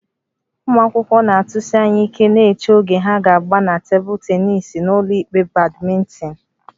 Ụmụ akwụkwọ na-atụsi anya ike na-eche oge ha ga-agba na tebụl tennis na ụlọikpe badminton